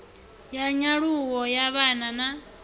ya nyaluwo ya vhana na